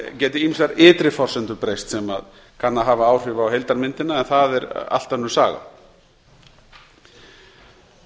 geti ýmsar ytri forsendur breyst sem kann að hafa áhrif á heildarmyndina en það er allt önnur saga